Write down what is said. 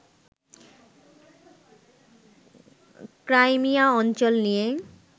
Crimea অঞ্চল নিয়ে